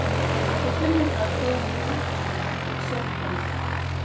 Þú finnur það þegar þú hittir þau og sérð það líka.